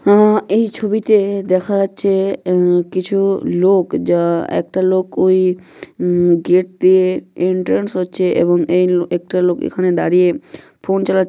আ এই ছবিতে দেখা যাচ্ছে এ কিছু লোক যা একটা লোক ওই উ গেট দিয়ে এন্টার হচ্ছে এবং এই একটা লোক দাঁড়িয়ে ফোন চালাচ্ছে।